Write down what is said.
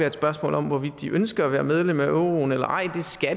et spørgsmål om hvorvidt de ønsker at være med i euroen eller ej